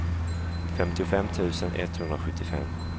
femtiofem tusen etthundrasjuttiofem